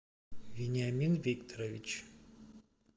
вениамин викторович